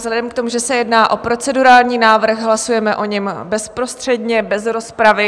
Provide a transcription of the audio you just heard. Vzhledem k tomu, že se jedná o procedurální návrh, hlasujeme o něm bezprostředně bez rozpravy.